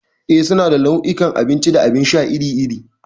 Eh, suna da nau'ikan abinci da abin sha iri-iri.